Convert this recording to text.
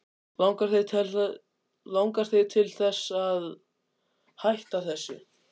Langar þig til þess að hætta þessu?